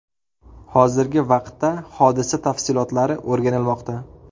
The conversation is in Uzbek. Hozirgi vaqtda hodisa tafsilotlari o‘rganilmoqda.